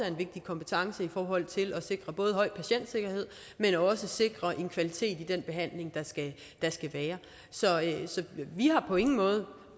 en vigtig kompetence i forhold til at sikre både en høj patientsikkerhed men også at sikre en kvalitet i den behandling der skal være så vi har på ingen måde